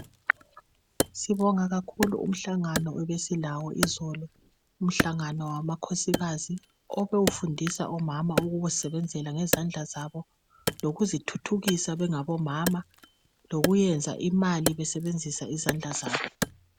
Sibonga kakhulu umhlangano ebesilawo izolo umhlangano wamakhosikazi obe ufundisa omama ukuzisebenzela ngezandla zabo lokuzithuthukisa bengabo mama lokuyenza imali besebenzisa izandla zabo.